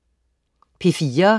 P4: